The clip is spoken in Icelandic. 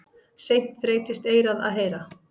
Seint þreytist eyrað að heyra.